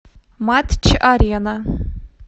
матч арена